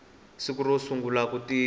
siku ro sungula ku tirha